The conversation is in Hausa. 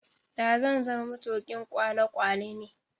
da zan zama matukin kwale kwalene